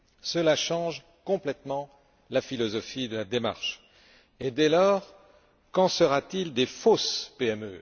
Cela change complètement la philosophie de la démarche, et dès lors, qu'en sera t il des fausses PME?